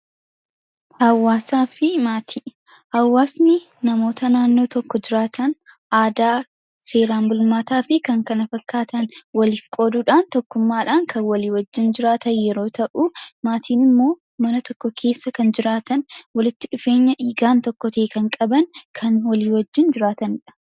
Hawaasaa fi maatii hawwaasni namoota naannoo tokko jiraatan aadaa seeraan bulmaataa fi kan kana fakkaatan waliif qooduudhaan tokkummaadhaan kan walii wajjin jiraatan yeroo ta'uu maatiin immoo mana tokko keessa kan jiraatan walitti dhufeenya dhiigaan tokko ta'e kan qaban kan walii wajjin jiraatandha.